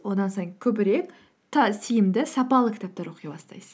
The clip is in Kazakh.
одан сайын көбірек тиімді сапалы кітаптар оқи бастайсыз